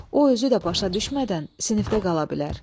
O özü də başa düşmədən sinifdə qala bilər.